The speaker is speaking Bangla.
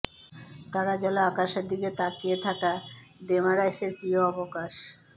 তারা জ্বলা আকাশের দিকে তাকিয়ে থাকা ডেমারাইসের প্রিয় অবকাশ